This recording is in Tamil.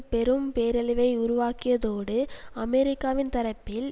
பெரும் பேரழிவை உருவாக்கியதோடுஅமெரிக்காவின் தரப்பில்